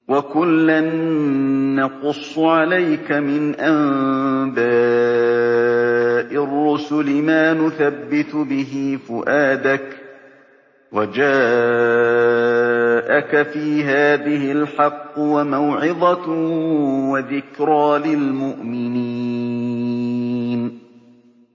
وَكُلًّا نَّقُصُّ عَلَيْكَ مِنْ أَنبَاءِ الرُّسُلِ مَا نُثَبِّتُ بِهِ فُؤَادَكَ ۚ وَجَاءَكَ فِي هَٰذِهِ الْحَقُّ وَمَوْعِظَةٌ وَذِكْرَىٰ لِلْمُؤْمِنِينَ